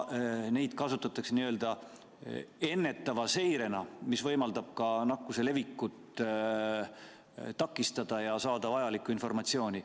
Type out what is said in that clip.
Neid kasutatakse n-ö ennetava meetmena, mis võimaldab ka nakkuse levikut takistada ja saada vajalikku informatsiooni.